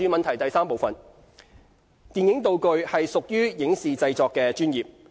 三電影道具屬於影視製作的專業。